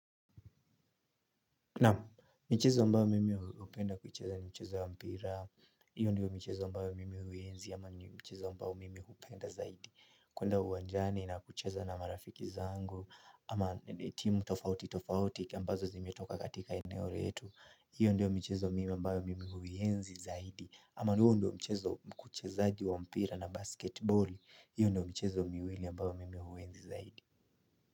Naam michezo ambayo mimi hupenda kuicheza ni michezo wa mpira, hiyo ndiyo michezo ambayo mimi huienzi ama ndo mchezo ambao mimi hupenda zaidi. Kwenda uwanjani na kucheza na marafiki zangu, ama timu tofauti tofauti, ambazo zimetoka katika eneo letu, hiyo ndiyo michezo mimi ambayo mimi huienzi zaidi. Ama huo ndo mchezo kuchezaji wa mpira na basketiboli, hiyo ndiyo michezo miwili ambao mimi huenzi zaidi.